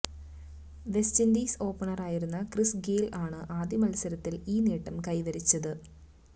West Indies ഓപ്പണറായിരുന്ന Chris Gayle ആണ് ആദ്യമത്സരത്തില് ഈ നേട്ടം കൈവരിച്ചത്